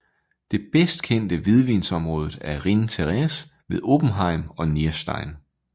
Det bedst kendte hvidvinsområde er Rhin Teresse ved Oppenheim og Nierstein